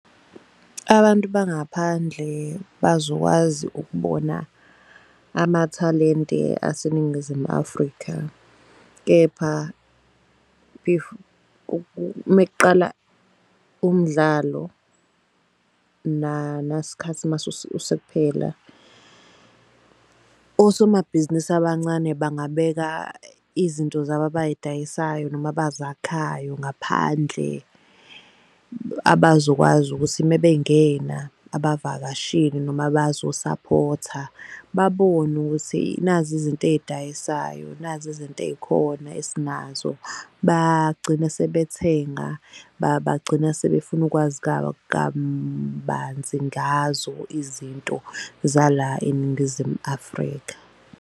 Abantu bangaphandle bazokwazi ukubona amathalente aseNingizimu Afrika. Kepha mekuqala umdlalo, nasikhathi mase kuphela. Osomabhizinisi abancane bangabeka izinto zabo abayidayisayo noma abazakhayo ngaphandle abazokwazi ukuthi mebengena abavakashile noma abazosaphotha. Babone ukuthi nazi izinto eyidayisayo nazi izinto ey'khona esinazo. Bagcine sebethenga bagcina sebefuna ukwazi kabanzi ngazo izinto zala eNingizimu Afrika.